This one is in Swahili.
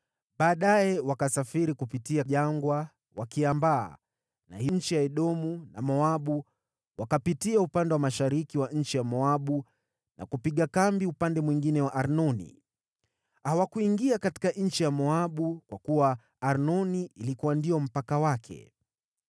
“Baadaye wakasafiri kupitia jangwa, wakiambaa na nchi za Edomu na Moabu, wakapitia upande wa mashariki wa nchi ya Moabu na kupiga kambi upande mwingine wa Arnoni. Hawakuingia katika nchi ya Moabu, kwa kuwa Arnoni ilikuwa mpaka wake.